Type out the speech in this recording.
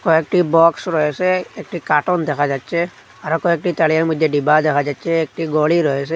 কয়েকটি বক্স রয়েসে একটি কার্টন দেখা যাচ্ছে আরও কয়েকটি তারিয়ার মধ্যে ডিব্বা দেখা যাচ্ছে একটি ঘড়ি রয়েসে।